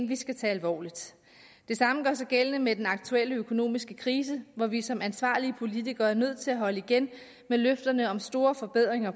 vi skal tage alvorligt det samme gør sig gældende med den aktuelle økonomiske krise hvor vi som ansvarlige politikere er nødt til at holde igen med løfterne om store forbedringer